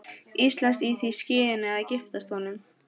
Íslands í því skyni að giftast honum.